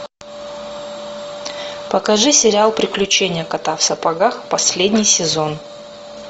покажи сериал приключения кота в сапогах последний сезон